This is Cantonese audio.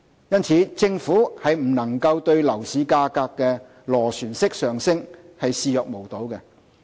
因此，政府不能對樓市價格的螺旋式上升視若無睹。